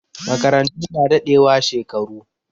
Makarantu na dadewa shekaru